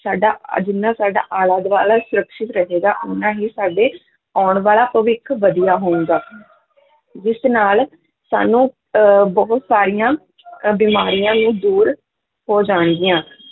ਸਾਡਾ ਆਹ ਜਿੰਨਾ ਸਾਡਾ ਆਲਾ ਦੁਆਲਾ ਹੀ ਸਰੱਖਿਅਤ ਰਹੇਗਾ ਓਨਾ ਹੀ ਸਾਡੇ ਆਉਣ ਵਾਲਾ ਭਵਿੱਖ ਵਧੀਆ ਹੋਵੇਗਾ ਜਿਸ ਨਾਲ ਸਾਨੂੰ ਅਹ ਬਹੁਤ ਸਾਰੀਆਂ ਅਹ ਬਿਮਾਰੀਆਂ ਨੂੰ ਦੂਰ ਹੋ ਜਾਣਗੀਆਂ